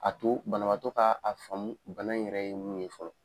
A to banabaatɔ ka a faamu bana in yɛrɛ ye min ye fɔlɔ.